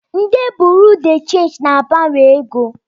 Ndi Buruu de chenji na-agbanwe ego.